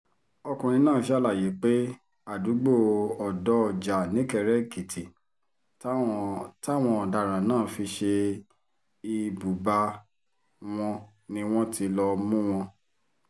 ọkùnrin náà ṣàlàyé pé àdúgbò ọ̀dọ́-ọjà nìkéré-èkìtì táwọn táwọn ọ̀daràn náà fi ṣe ibùba wọn ni wọ́n ti lọ́ọ̀ mú wọn